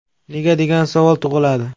Nega degan savol tug‘iladi.